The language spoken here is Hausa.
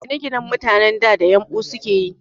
Ginaginan mutanen da, da yumɓu sukeyi